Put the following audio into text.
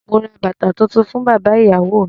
Mo ra bàtà tuntun fún bàbá ìyàwó mi.